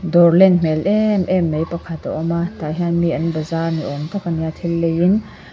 dawr len hmel em em mai pakhat a awm a tah hian mi an bazaar ni awm tak a ni a thil leiin.